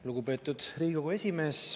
Lugupeetud Riigikogu esimees!